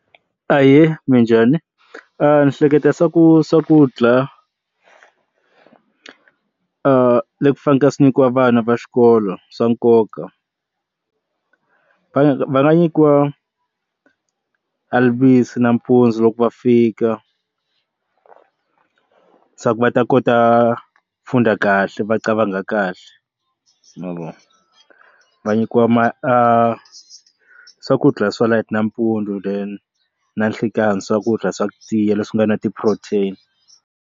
Ahee, minjhani ni hleketa swa ku swakudya leswi faneke swi nyikiwa vana va xikolo swa nkoka va va nga nyikiwa alivise nampundzu loko va fika swa ku va ta kota ku funda kahle va qavanga kahle mavona va nyikiwa ma swakudya swa light nampundzu then na nhlekani swakudya swa tiya leswi nga na ti-protein.